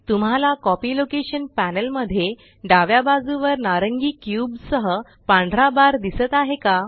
तुम्हाला copy location panel मध्ये डाव्या बाजुवर नारंगी क्यूब सह पांढरा बार दिसत आहे का